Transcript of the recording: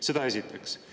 Seda esiteks.